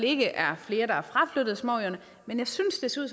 ikke er flere der er fraflyttet småøerne men jeg synes det ser